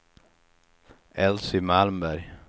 Elsy Malmberg